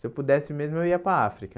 Se eu pudesse mesmo, eu ia para a África.